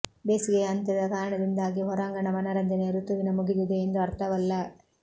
ಬೇಸಿಗೆಯ ಅಂತ್ಯದ ಕಾರಣದಿಂದಾಗಿ ಹೊರಾಂಗಣ ಮನರಂಜನೆಯ ಋತುವಿನ ಮುಗಿದಿದೆ ಎಂದು ಅರ್ಥವಲ್ಲ